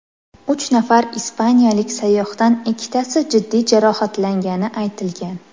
Uch nafar ispaniyalik sayyohdan ikkitasi jiddiy jarohatlangani aytilgan.